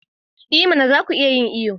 I mana! za ku iya yin iyo.